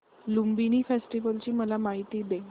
Lumbini festival ची मला माहिती दे